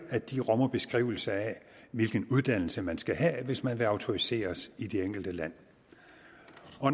at de rummer beskrivelser af hvilken uddannelse man skal have hvis man vil autoriseres i det enkelte land